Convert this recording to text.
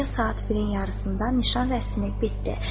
Gecə saat 1-in yarısında nişan rəsmi bitdi.